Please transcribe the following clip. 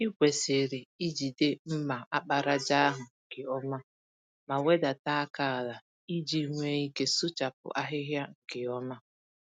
Ịkwesịrị ijide mma àkpàràjà ahụ nke ọma, ma wedata àkà àlà, iji nwee ike sụchapụ ahịhịa nke ọma.